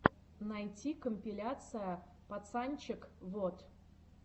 найти компиляция пацанчег вот